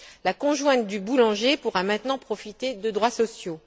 La conjointe du boulanger pourra maintenant profiter de droits sociaux.